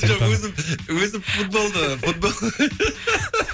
жоқ өзім өзім футболды футбол